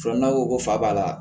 Fɔlɔ n'aw ko ko fa b'a la